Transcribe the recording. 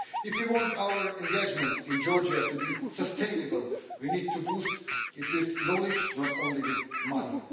If you want our engagement in Georgia to be sustainable, we need to boost it with knowledge, not only with money.